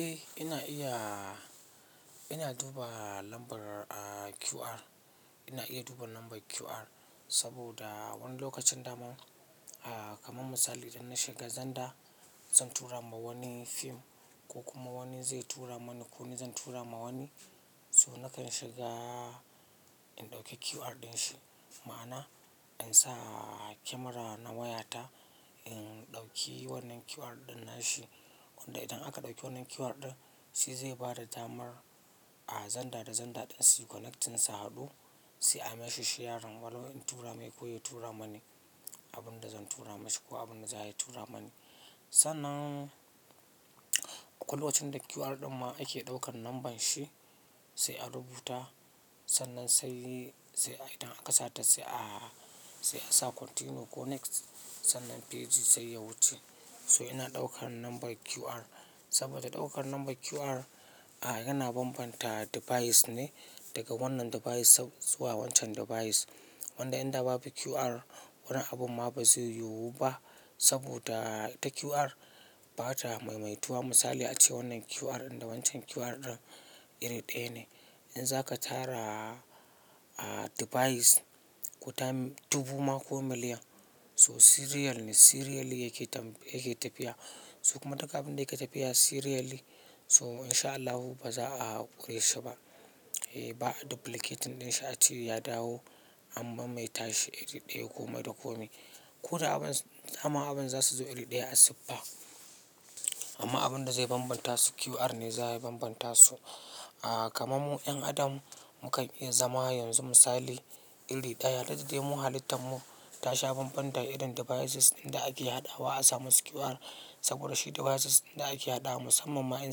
Eh ina iya, ina duba lambar QR, ina iya duba lambar QR saboda wani lokacin daman, a kamar misali idan na shiga zenda zan tura ma wani fim ko kuma wani zai tura mani ko ni zan tura ma wani. So nakan shiga in dauki QR din shi, ma'ana in sa kemera na wayata in dauki wannan QR din nashi. Wanda idan aka dauki wannan QR din, shi zai bada damar a zenda da zenda ɗin suyi connecting su hadu, sai a mesheshi yarin. Walau in tura mai ko ya tura mani abin da zan tura masa ko abin da za ya tura mani. Sannan akwai lokacin da QR ɗin ma ake ɗaukan lambar shi sai a rubuta, sannan sai sai idan aka sata sai a, sai a sa continue ko next sannan page sai ya wuce. So ina ɗaukan lambar QR saboda ɗaukan lambar QR a yana bambanta device ne daga wannan device zuwa wancan device. Wanda inda babu QR, wani abun ma ba zai yiwu ba saboda ita QR ba ta maimaituwa. Misali ace wannan QR ɗin da wancan QR ɗin iri ɗaya ne. In za ka tara a device ko ta ɗubu ma ko miliyan so serial ne, serially yake tam, yake tafiya. So kuma duk abin da yake tafiya serially ne so in sha Allahu ba za a ƙure shi ba. Eh ba duplicating ɗin shi a cewa ya dawo ammaban mai tashi iri ɗaya ko madako ne. Ko da abun, dama abun za su zo iri ɗaya a siffa. Amma abin da zai bambanta su QR ne za ya bambanta su. A kaman mu 'yan adam mu kan iya zama yanzu misali iri ɗaya, dukdadai mu halittan mu tasha bambanda irin devices ɗinda ake haɗawa a samu su QR. Saboda shi devices ɗinda ake haɗawa musamman ma 'yan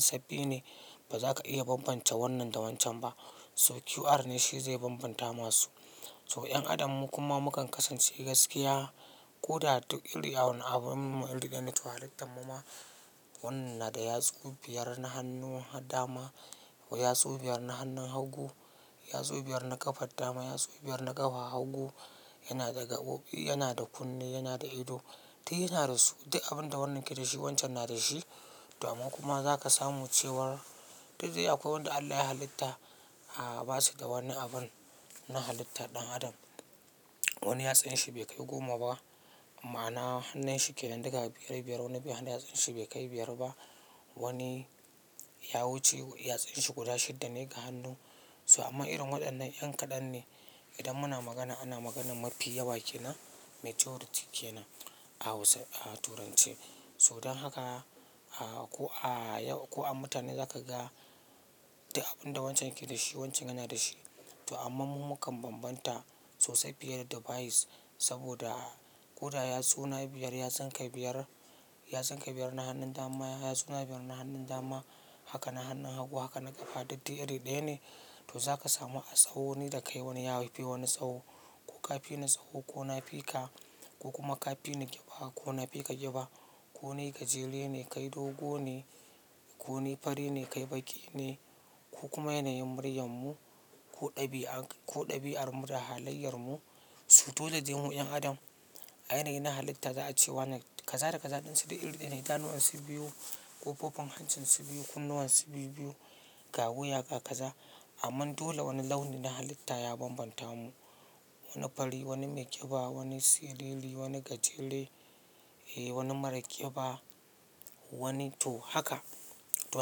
sabbi ne ba za ka iya bambance wannan da wancan ba. So QR ne shi zai bambanta masu. So 'yan adam mu kuma mu kan kasance gaskiya ko da duk iri wanda abun mu iri ɗaya ne. To halittan mu ma wannan da yatsu biyar na hannu dama ko yatsu biyar na hannun hagu, yatsu biyar na ƙafar dama, yatsu biyar na ƙafa, hagu yana da gaboƙi, yana da kunne, yana da ido. Duk yana da su, duk abin da wannan yake da shi wancan yana da shi. To amman kuma za ka samu cewar dukdai akwai wanda Allah ya halitta a ba su da wani abun na halitta ɗan adam. Wani yatsun shi bai kai goma ba, ma'ana hannun shi ke nan daga biyar biyar. Wani bai hannun yatsan shi bai kai biyar ba. Wani ya wuce yatsun shi guda shidda ne ga hannu. So amma irin waɗannan yan kaɗan ne. Idan muna magana ana maganar mafi yawa ke nan majority ke nan a Hausa, a Turanci. So don haka a ko a yau ko a mutane za ka ga abin da wancan yake da shi wancan yana da shi. To amma mu mu kan bambanta sosai fiye da device saboda ko da yatsuna biyar yatsun ka biyar, yatsun ka biyar na hannun dama, yatsuna biyar na hannun dama, haka na hannun hagu, haka na ƙafa dukdai iri ɗaya ne. To za ka samu a tsawo ni da kai wani ya fi wani tsawo, ko ka fi ni tsawo ko na fi ka, ko kuma ka fi ni ƙiba ko na fi ka ƙiba. Ko nai gajere ne kai dogo ne, ko ni fari ne kai baƙi ne ko kuma yanayin muryar mu ko ɗabi'a, ko ɗabi'ar da halayyar mu. So dole dai mu 'yan adam a yanayi na halitta za a ce wannan kaza da kaza ɗin su dai iri ɗaya ne. Idanuwan su biyu, ƙofofin hancin su biyu, kunnuwan su biyu-biyu, gawu, yaka, kaza. Amman dole wani launi na halitta ya bambanta mu. Wani fari, wani mai ƙiba, wani seriri, wani gajere, eh wani mara ƙiba, wani to haka. To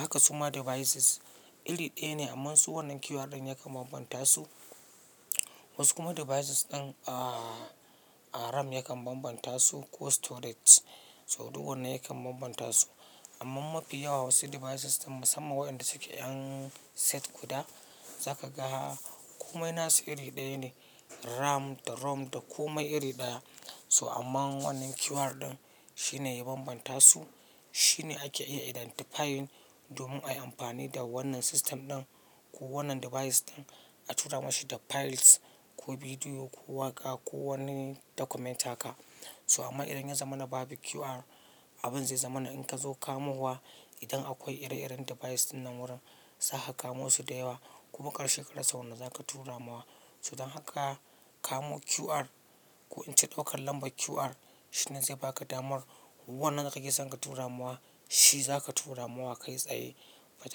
haka suma devices iri ɗaya ne amma su wannan QR ɗin yakan bambanta su. Wasu kuma devices ɗin a RAM yakan bambanta su ko storage. So duk wannan yakan bambanta su. Amman mafi yawa wa su devices ɗin musamman waɗanda suke 'yan set guda za ka ga komai nasu iri ɗaya ne. RAM da ROM da kome iri ɗaya. So amma wannan QR ɗin shi ne ya bambanta su, shi ne ake iya identifying domin ayi amfani da wannan system ɗin ko wannan device ɗin a tura mashi da files ko bidiyo ko waƙa ko wani document haka. So amma idan ya zama na babu QR abin zai zama na in ka zo kamo wa idan akwai ire-iren device ɗin nan wurin zaka kamo su da yawa. Ku makar she kara sa wanda zaka tura ma wa. So don haka kamo QR ko in ce ɗaukan lambar QR shi ne zai baka damar wannan da kake son ka tura ma wa shi zaka tura ma wa kai tsaye ba tayi.